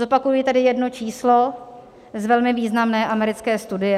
Zopakuji tady jedno číslo z velmi významné americké studie.